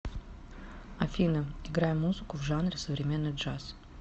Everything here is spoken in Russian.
афина играй музыку в жанре современный джаз